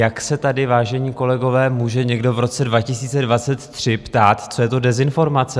Jak se tady, vážení kolegové, může někdo v roce 2023 ptát, co je to dezinformace?